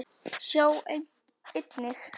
Sjá einnig